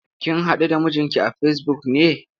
Kin haɗu da mijinki a Facebook ne?